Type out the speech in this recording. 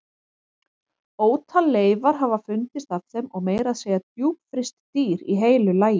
Ótal leifar hafa fundist af þeim og meira að segja djúpfryst dýr í heilu lagi.